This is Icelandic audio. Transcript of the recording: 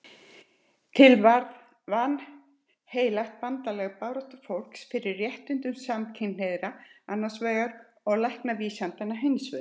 Til varð vanheilagt bandalag baráttufólks fyrir réttindum samkynhneigðra annars vegar og læknavísindanna hins vegar.